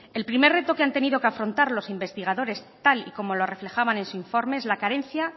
el primer reto que han tenido que afrontar los investigadores tal y como lo reflejaban en su informe es la carencia